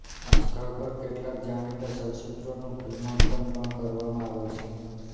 આ સ્થળ પર કેટલાક જાણીતા ચલચિત્રોનું ફિલ્માંકન પણ કરવામાં આવેલ છે